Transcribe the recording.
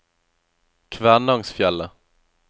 Kvænangsfjellet